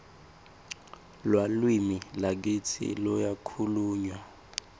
lalwimi lakitsi luyakhulmywa